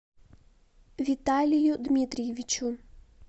виталию дмитриевичу